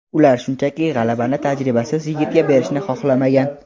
Ular shunchaki, g‘alabani tajribasiz yigitga berishni xohlamagan.